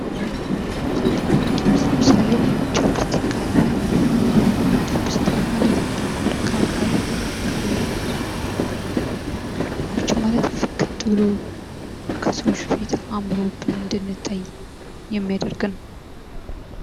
መዋቢያ እና ውበት መጠበቂያ ለምሳሌ ቻፒስቲክ አለ። ቻፒስቲክ ማለት ጥቁር ከንፈር ካለን ምቹ እና ፍክት ብሎ ከሰዎች ፊት አምሮብን እንድንታይ የሚያደርግ ነው።